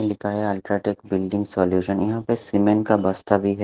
लिखा है UltraTech building solution यहाँ पे सीमेंट का बस्ता बी है।